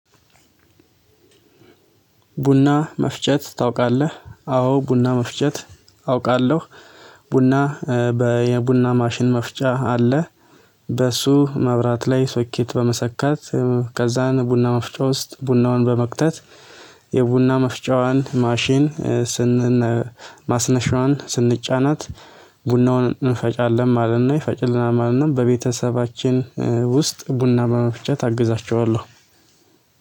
ቡና መፍጨት ታውቃለህ? አዎ ቡና መፍጨት አውቃለሁ። ቡና በየቡና ማሽን መፍጫ አለ። በሱ መብራት ላይ ሶኬት በመሰካት ከዛን ቡና መፍጫ ውስጥ ቡናውን በመክተት። የቡና መፍጫዋን ማሽን ስን ማስነሻዋን ስንጫናት ቡናውን እንፈጫለን ማለት ነው ይፈጭልናል ማለት ነው። በቤተሰባችን ውስጥ ቡና በመፍጨት አግዛቸዋለሁ።